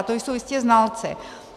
A to jsou jistě znalci.